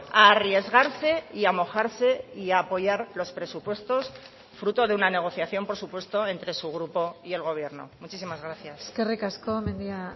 a arriesgarse y a mojarse y a apoyar los presupuestos fruto de una negociación por supuesto entre su grupo y el gobierno muchísimas gracias eskerrik asko mendia